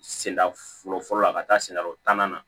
Senda fɔlɔ fɔlɔ la a ka taa sendarɔ tannan na